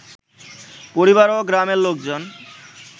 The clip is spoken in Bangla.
পরিবার ও গ্রামের লোকজন